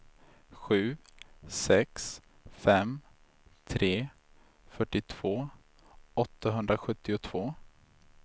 sju sex fem tre fyrtiotvå åttahundrasjuttiotvå